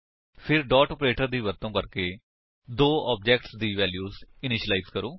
ਫਿਰ dot operator ਦੀ ਵਰਤੋ ਕਰਕੇ ਦੋ ਆਬਜੇਕਟਸ ਦੀ ਵੈਲਿਊਜ ਇਨੀਸ਼ਿਲਾਇਜ ਕਰੋ